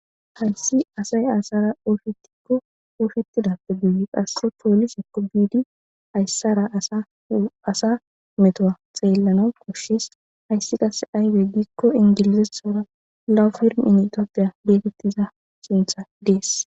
Hayssi asay aysara ooyiketikko ooyikettidappe guyi qasse poolisekko biidi hayssara asa metowa xeellana koshshis hayssi qase ayibe giikko ingilizethora lawu firm initoopiya getettiza sintha dees